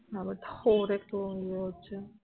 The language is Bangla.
ওর একটু এয়ে হছে